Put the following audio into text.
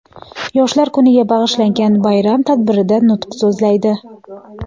Yoshlar kuniga bag‘ishlangan bayram tadbirida nutq so‘zlaydi.